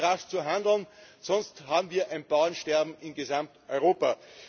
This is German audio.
Es heißt, rasch zu handeln, sonst haben wir ein Bauernsterben in Gesamteuropa!